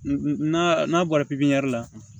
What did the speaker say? N'a bɔra la